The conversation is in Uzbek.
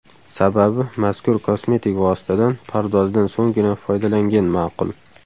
Sababi mazkur kosmetik vositadan pardozdan so‘nggina foydalangan ma’qul.